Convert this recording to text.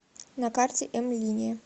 на карте м линия